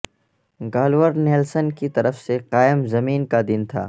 Gaylord Nelson کی طرف سے قائم زمین کا دن تھا